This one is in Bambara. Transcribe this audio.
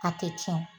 A tɛ tiɲɛ